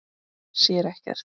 Sér ekkert.